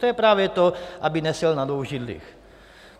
To je právě to: aby neseděl na dvou židlích.